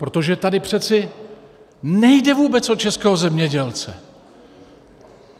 Protože tady přeci nejde vůbec o českého zemědělce.